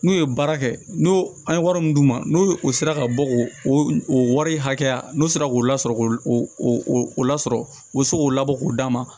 N'u ye baara kɛ n'o an ye wari min d'u ma n'o o sera ka bɔ k'o o wari hakɛya n'o sera k'o lasɔrɔ k'o o lasɔrɔ o bɛ se k'o labɔ k'o d'a ma